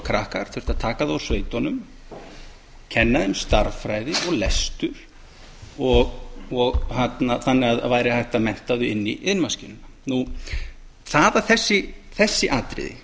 krakkar þurfti að taka þá úr sveitunum kenna þeim stærðfræði og lestur þannig að það væri hægt að mennta þau inn í iðnmaskínuna það að þessi atriði